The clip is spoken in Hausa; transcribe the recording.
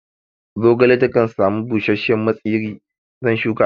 Zogale takan sami busasshiyar matsira, zan shuka a gidana